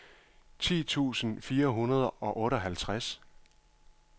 ti tusind fire hundrede og otteoghalvtreds